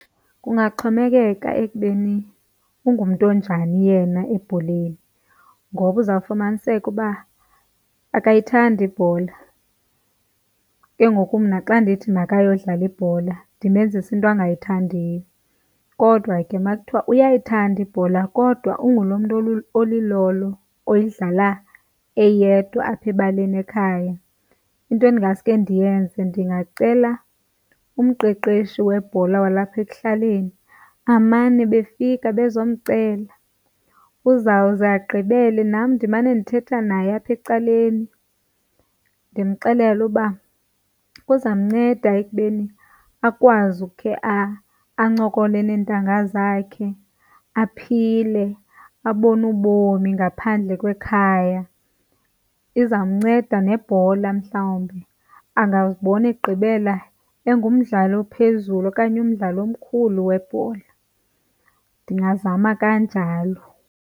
Kungaxhomekeka ekubeni ungumntu onjani yena ebholeni ngoba uza fumaniseke uba akayithandi ibhola, ke ngoku mna xa ndithi makayodlala ibhola ndimenzisa into angayithandiyo. Kodwa ke makuthiwa uyayithanda ibhola kodwa unguloo mntu olilolo uyidlala eyedwa apha ebaleni ekhaya. Into endingasuke ndiyenze ndingacela umqeqeshi webhola walapha ekuhlaleni amane befika bezomcela. Uzawuze agqibele, nam ndimane ndithetha naye apha ecaleni ndimxelele uba uza mnceda ekubeni akwazi ukhe ancokole nentanga zakhe aphile, abone ubomi ngaphandle kwekhaya. Iza mnceda nebhola, mhlawumbi angazibona egqibela engumdlali ophezulu okanye umdlali omkhulu webhola. Ndingazama kanjalo.